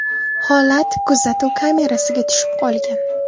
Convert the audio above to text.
Holat kuzatuv kamerasiga tushib qolgan.